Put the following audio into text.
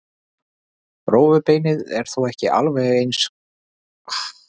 Rófubeinið er þó ekki alveg gagnslaust eins og halda mætti.